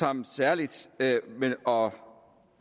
ham særligt og